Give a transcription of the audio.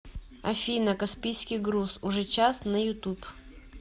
афина каспийский груз уже час на ютуб